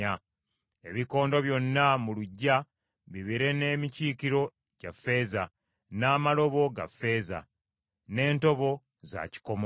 Ebikondo byonna mu luggya bibeere n’emikiikiro gya ffeeza, n’amalobo ga ffeeza, n’entobo za kikomo.